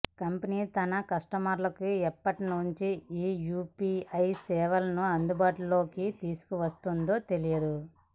company తన కస్టమర్లకు ఎప్పటి నుంచి ఈ యూపీఐ సేవలను అందుబాటులోకి తీసుకువస్తుందో తెలియదు